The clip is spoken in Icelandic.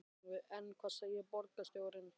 En hvað segir borgarstjóri?